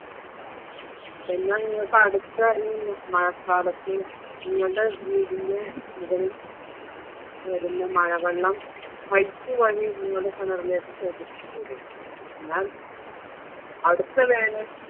എന്നാ നിങ്ങക്ക് അടുത്ത ഈ മഴക്കാലത്ത് നിങ്ങളുടെ വീടിൻ്റെ വരുന്ന മഴവെള്ളം pipe വഴി നിങ്ങള കിണറിലേക്ക് ശേഖരിച്ചിട്ടൂടെ എന്നാൽ അടുത്ത വേനൽ